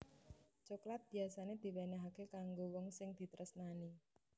Coklat biyasané diwénéhaké kanggo wong sing ditresnani